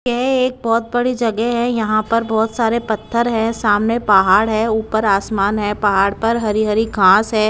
यह एक बहुत बड़ी जगह है यहां पर बहुत सारे पत्थर है सामने पहाड़ है ऊपर आसमान है पहाड़ पर हरी हरी घांस है।